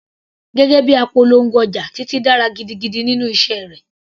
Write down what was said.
Gẹ́gẹ́ bíi apolongo ọjà, Titi dára gidigidi nínú iṣẹ́ rẹ̀.